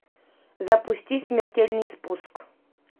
запусти смертельный спуск